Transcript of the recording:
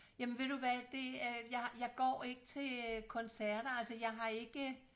Jamen ved du hvad det øh jeg jeg går ikke til koncerter altså jeg har ikke